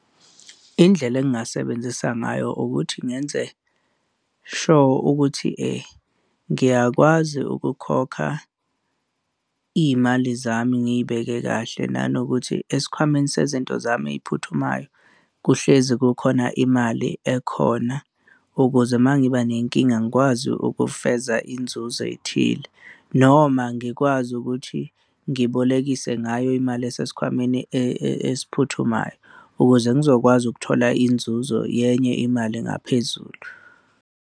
Indlela engingasebenzisa ngayo ukuthi ngenze sure ukuthi ngiyakwazi ukukhokha iy'mali zami ngiy'beke kahle nanokuthi esikhwameni sezinto zami ey'phuthumayo, kuhlezi kukhona imali ekhona, ukuze uma ngiba nenkinga ngikwazi ukufeza inzuzo ey'thile noma ngikwazi ukuthi ngibolekile ngayo imali esikhwameni esiphuthumayo ukuze ngizokwazi ukuthola inzuzo yenye imali engaphezulu.